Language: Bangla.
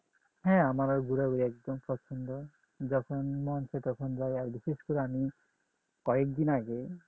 হ্যাঁ আমার আর ঘুরা ঘুরি একদম পছন্দ যখন মন চাই আর বিশেষ করে আমি কয়েকদিন আগে